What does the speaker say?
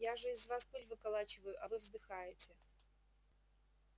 я же из вас пыль выколачиваю а вы вздыхаете